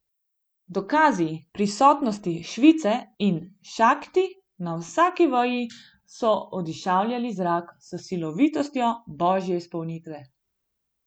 Dokazi prisotnosti Šive in Šakti na vsaki veji so odišavljali zrak s silovitostjo božje izpolnitve.